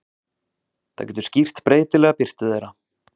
Það getur skýrt breytilega birtu þeirra.